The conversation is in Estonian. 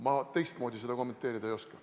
Ma teistmoodi seda kommenteerida ei oska.